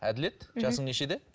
әділет жасың нешеде